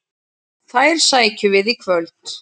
Þær sækjum við í kvöld.